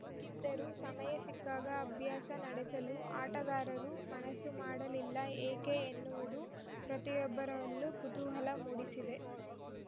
ಗಿದ್ದರೂ ಸಮಯ ಸಿಕ್ಕಾಗ ಅಭ್ಯಾಸ ನಡೆಸಲು ಆಟಗಾರರು ಮನಸು ಮಾಡಲಿಲ್ಲ ಏಕೆ ಎನ್ನುವುದು ಪ್ರತಿಯೊಬ್ಬರಲ್ಲೂ ಕುತೂಹಲ ಮೂಡಿಸಿದೆ